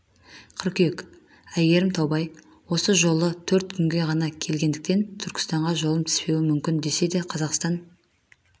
қыркүйек айгерім таубай осы жолы төрт күнге ғана келгендіктен түркістанға жолым түспеуі мүмкін десе де қазақстан